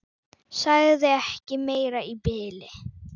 Sagði ekki meira í bili.